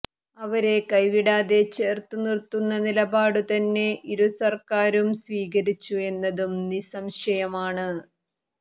അവരെ കൈവിടാതെ ചേര്ത്തു നിര്ത്തുന്ന നിലപാടു തന്നെ ഇരു സര്ക്കാരും സ്വീകരിച്ചു എന്നതും നിസംശയമാണ്